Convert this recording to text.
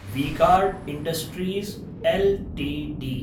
V-Guard Industries LTD